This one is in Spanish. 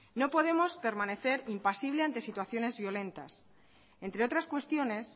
no podemos permanecer impasibles ante situaciones violentas entre otras cuestiones